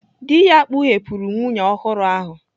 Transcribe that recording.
Dị ya kpughepụrụ nwunye ọhụrụ ahụ.